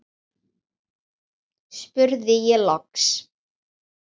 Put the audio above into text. spurði ég loks.